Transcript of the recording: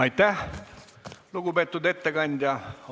Aitäh, lugupeetud ettekandja!